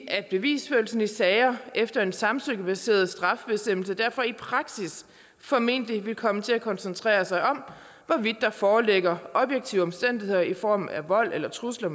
at bevisførelsen i sager efter en samtykkebaseret strafbestemmelse derfor i praksis formentlig vil komme til at koncentrere sig om hvorvidt der foreligger objektive omstændigheder i form af vold eller trusler